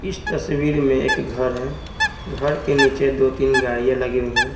इस तस्वीर में एक घर है घर के नीचे दो-तीन गाड़ियां लगी हुई हैं।